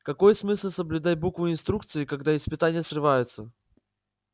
какой смысл соблюдать букву инструкции когда испытания срываются